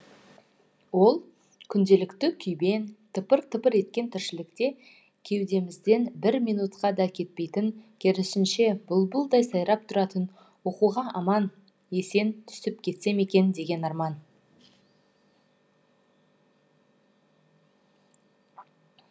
ол күнделікті күйбең тыпыр тыпыр еткен тіршілікте кеудемізден бір минутқа да кетпейтін керісінше бұлбұлдай сайрап тұратын оқуға аман есен түсіп кетсем екен деген арман